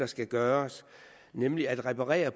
skal gøres nemlig at reparere